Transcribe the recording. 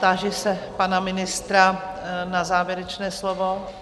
Táži se pana ministra na závěrečné slovo?